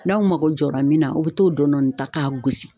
N'aw mago jɔra min na a be t'o dɔndɔni ta k'a gosi